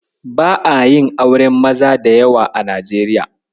Ba'a yin auren maza da yawa a Najeriya.